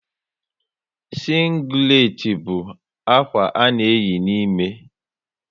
Sínglet bú ákwà a na eyi n'ime